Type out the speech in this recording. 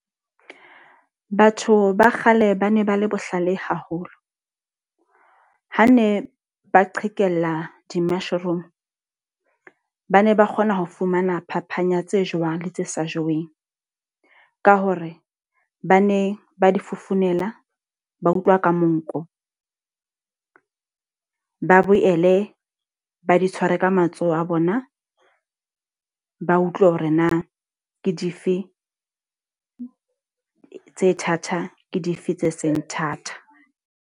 Batho ba kgale ba ne ba le bohlale haholo. Ha ne ba qhekella di-mushroom. Ba ne ba kgona ho fumana phapang yatse jewang le tse sa jeweng. Ha hore ba ne ba di fofonela, ba utlwa ka monko. Ba boele ba di tshware ka matsoho a bona, ba utlwe hore na ke dife tse thata ke dife tse seng thata.